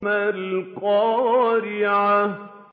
مَا الْقَارِعَةُ